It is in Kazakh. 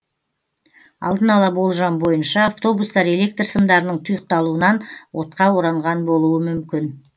алдын ала болжам бойынша автобустар электр сымдарының тұйықталуынан отқа оранған болуы мүмкін